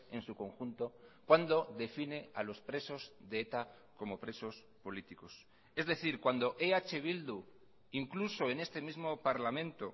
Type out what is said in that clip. en su conjunto cuando define a los presos de eta como presos políticos es decir cuando eh bildu incluso en este mismo parlamento